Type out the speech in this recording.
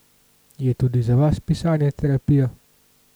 Je tudi za vas pisanje terapija?